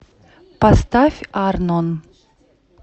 поставь арнон